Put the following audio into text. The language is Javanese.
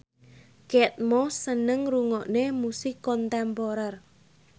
Kate Moss seneng ngrungokne musik kontemporer